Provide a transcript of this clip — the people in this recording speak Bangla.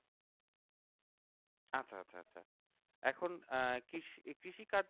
এখন আহ কৃষি কৃষিকার্য